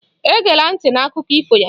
Egela ntị na Akụkọ ifo ya!